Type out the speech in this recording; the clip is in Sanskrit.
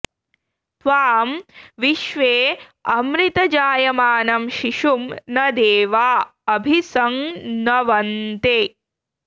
त्वां विश्वे॑ अमृत॒ जाय॑मानं॒ शिशुं॒ न दे॒वा अ॒भि सं न॑वन्ते